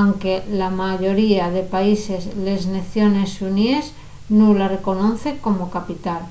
anque la mayoría de países les naciones xuníes nun la reconocen como capital